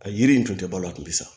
A yiri in tun tɛ balo a tun bɛ sa